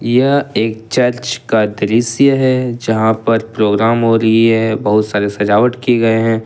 यह एक चर्च का दृश्य है जहां पर प्रोग्राम हो रही है बहुत सारे सजावट की गए हैं।